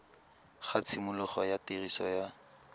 ga tshimologo ya tiriso ya